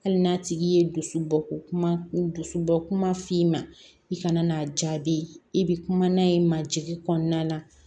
Hali n'a tigi ye dusu bɔ ko kuma dusu bɔ kuma f'i ma i kana n'a jaabi i bɛ kuma n'a ye majigin kɔnɔna na